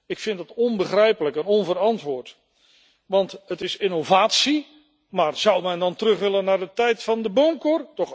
Ik vind het onbegrijpelijk en onverantwoord. Want het is innovatie, maar zou men dan terug willen naar de tijd van de boomkor?